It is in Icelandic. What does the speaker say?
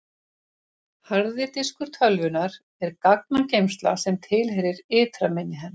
harði diskur tölvunnar er gagnageymsla sem tilheyrir ytra minni hennar